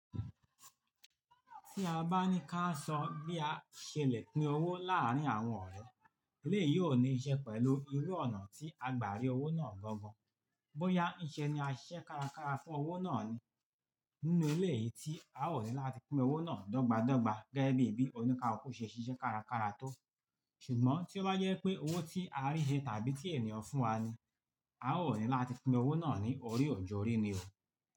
Tí a bá ní ká sọ bí a ṣe lè pín owó láàárín àwọn ọ̀rẹ́, eléyìí ò ní n ṣẹ́ pẹ̀lú irú ọ̀nà tí a gbà rí owó náà gbọ́n gan. Bóyá iṣẹ́ ni a ṣẹ́ kárakára fún owó náà ni, nínú eléyìí tí a ò ní láti pín owó náà dọ́gba dọ́gba gẹ́gẹ́ bí bí oníkaluku kò ṣe ṣiṣẹ́ kárakára tó. Ṣùgbọ́n tí ó bá je pé owó tí a rí he tàbí tí ènìyàn fún wa ni, a ó ní láti pín owó náà ni orí ò ju orí ni o.